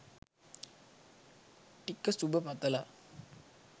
ටික සුභ පතලා.